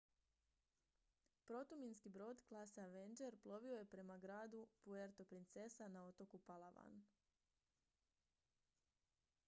protuminski brod klase avenger plovio je prema gradu puerto princesa na otoku palawan